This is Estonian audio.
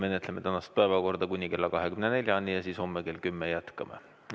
Me menetleme tänast päevakorda kuni kella 24-ni ja siis homme kell 10 jätkame.